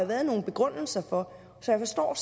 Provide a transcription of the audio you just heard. været nogle begrundelser for jeg forstår